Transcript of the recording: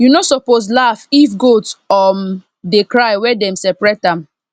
you no suppose laugh if goat um dey cry when dem separate am